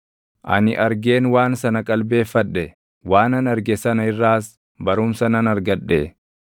Ani argeen waan sana qalbeeffadhe; waanan arge sana irraas barumsa nan argadhe: